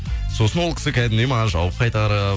сосын ол кісі кәдімгідей маған жауап қайтарып